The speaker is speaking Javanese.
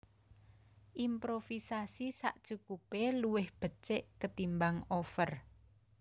Improvisasi sakcukupé luwih becik ketimbang over